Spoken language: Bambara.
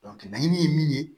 laɲini ye min ye